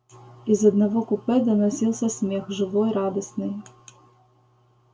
из одного купе доносился смех живой радостный